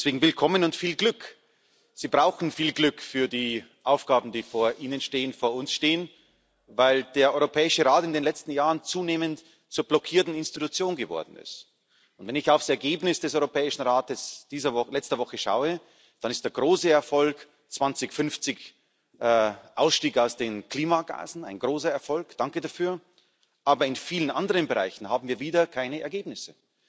Deswegen willkommen und viel Glück! Sie brauchen viel Glück für die Aufgaben, die vor Ihnen stehen, vor uns stehen, weil der Europäische Rat in den letzten Jahren zunehmend zur blockierten Institution geworden ist. Wenn ich auf das Ergebnis des Europäischen Rates von letzter Woche schaue, dann ist der große Erfolg 2050 Ausstieg aus den Klimagasen ein großer Erfolg, danke dafür. Aber in vielen anderen Bereichen haben wir wieder keine Ergebnisse.